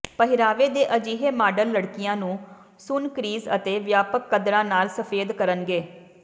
ਪਹਿਰਾਵੇ ਦੇ ਅਜਿਹੇ ਮਾਡਲ ਲੜਕੀਆਂ ਨੂੰ ਸੁੰਨ ਕ੍ਰੀਜ਼ ਅਤੇ ਵਿਆਪਕ ਕੱਦਰਾਂ ਨਾਲ ਸਫੈਦ ਕਰਨਗੇ